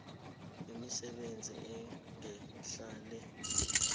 imisebenzi engehla le